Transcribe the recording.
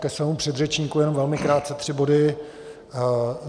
Ke svému předřečníkovi jen velmi krátce tři body.